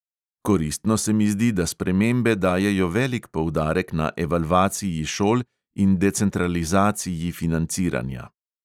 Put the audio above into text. Koristno se mi zdi, da spremembe dajejo velik poudarek na evalvaciji šol in decentralizaciji financiranja.